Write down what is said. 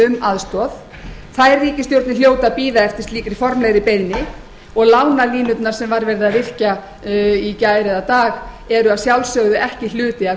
um aðstoð þær ríkisstjórnir hljóta að bíða eftir slíkri formlegri beiðni og lánalínurnar sem var verið að virkja í gær eða dag eru að sjálfsögðu ekki hluti af